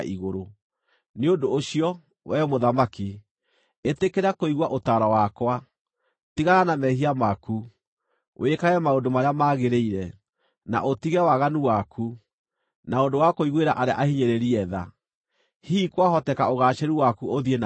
Nĩ ũndũ ũcio, wee mũthamaki, ĩtĩkĩra kũigua ũtaaro wakwa: Tigana na mehia maku, wĩkage maũndũ marĩa magĩrĩire, na ũtige waganu waku, na ũndũ wa kũiguĩra arĩa ahinyĩrĩrie tha. Hihi kwahoteka ũgaacĩru waku ũthiĩ na mbere.”